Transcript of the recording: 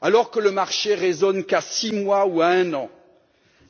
Alors que le marché ne raisonne qu'à six mois ou un an,